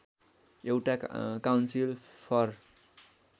एउटा council for